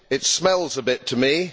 It smells a bit to me.